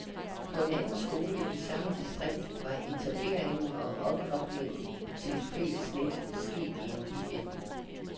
På en anden skole i samme distrikt var etableringen og opkoblingen til et fælles net sket i en weekend.